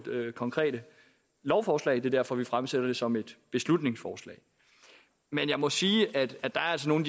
konkrete lovforslag det er derfor vi fremsætter det som et beslutningsforslag men jeg må sige at at der altså er